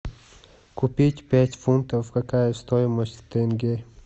купить пять фунтов какая стоимость в тенге